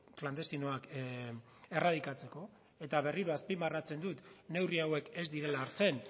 klandestinoak erradikatzeko eta berriro azpimarratzen dut neurri hauek ez direla hartzen